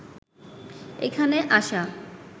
এখানে আসা